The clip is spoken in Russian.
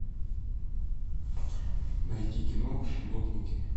найти кино гопники